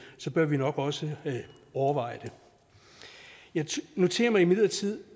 bør vi nok også overveje det jeg noterer mig imidlertid